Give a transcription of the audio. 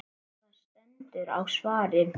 Það stendur á svari.